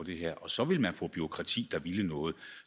det her og så ville man få et bureaukrati der ville noget